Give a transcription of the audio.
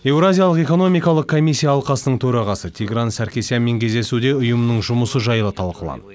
еуразиялық экономикалық комиссия алқасының төрағасы тигран саркисянмен кездесуде ұйымның жұмысы жайлы талқыланды